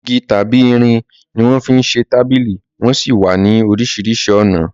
Igi tàbí irin ni wọ́n fi ń ṣe tábìlì wón sì wà ní oríṣiríṣi ọ̀nà